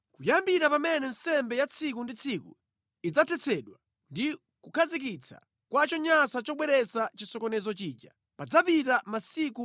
“Kuyambira pamene nsembe ya tsiku ndi tsiku idzathetsedwa ndi kukhazikitsa kwa chonyansa chobweretsa chisokonezo chija, padzapita masiku 1,290.